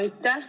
Aitäh!